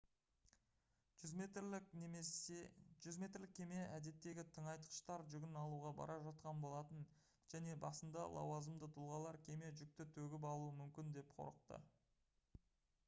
100 метрлік кеме әдеттегі тыңайтқыштар жүгін алуға бара жатқан болатын және басында лауазымды тұлғалар кеме жүкті төгіп алуы мүмкін деп қорықты